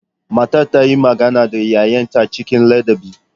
Matar ta yi magana da 'ya'yanta cikin ladabi.